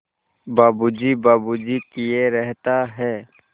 बाबू जी बाबू जी किए रहता है